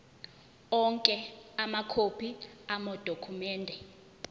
onke amakhophi amadokhumende